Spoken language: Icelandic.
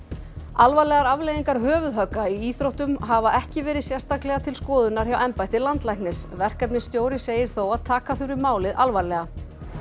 alvarlegar afleiðingar höfuðhögga í íþróttum hafa ekki verið sérstaklega til skoðunar hjá embætti landlæknis verkefnastjóri segir þó að taka þurfi málið alvarlega